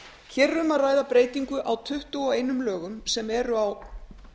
hér er um að ræða breytingu á tuttugu og einum lögum sem eru á